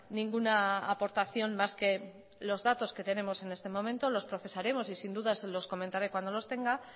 ninguna aportación más que los datos que tenemos en este momento los procesaremos y sin duda se los comentaré cuando los tenga